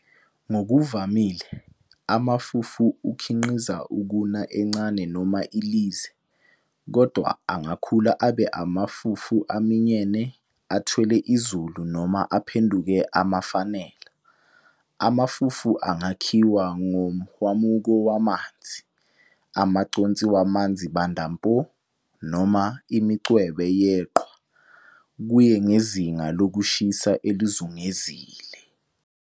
Ngokuvamile, amafufu akhiqiza ukuna encane noma ilize, kodwa angakhula abe amafufu aminyene athwele izulu noma aphenduke amafenala. Amafufu angakhiwa ngomhwamuko wamanzi, amaconsi wamanzi Banda mpo, noma imincwebe yeqhwa, kuye ngezinga lokushisa elizungezile.